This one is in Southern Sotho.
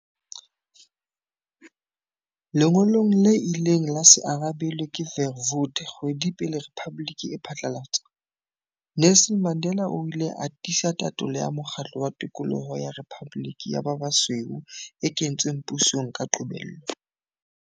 Lengolong le ileng la se arabelwe ke Verwoerd kgwedi pele rephaboliki e phatlalatswa, Nelson Mandela o ile a tiisa tatolo ya mokgatlo wa tokoloho ya rephaboliki ya ba basweu e kentsweng pusong ka qobello.